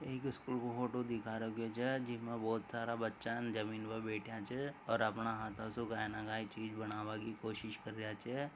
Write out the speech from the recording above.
एक स्कूल को फोटो दिखा रखो ज जिम बहुत सारा बच्चा न जमीन पर बैठान च और अपना हाथा स काय न काय चीज बनावा की कोशिश कर रा च।